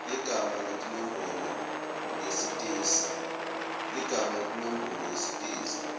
ligama nenombolo yesitezi